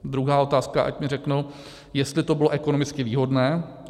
Druhá otázka, ať mi řeknou, jestli to bylo ekonomicky výhodné.